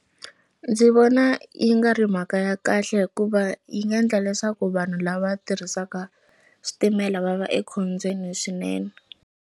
Ndzi vona yi nga ri mhaka ya kahle hikuva yi nga endla leswaku vanhu lava tirhisaka switimela va va ekhombyeni swinene.